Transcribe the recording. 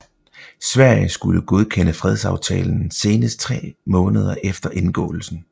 Sverige skulle godkende fredsaftalen senest tre måneder efter indgåelsen